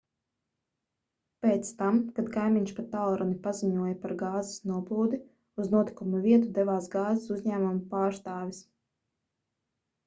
pēc tam kad kaimiņš pa tālruni paziņoja par gāzes noplūdi uz notikuma vietu devās gāzes uzņēmuma pārstāvis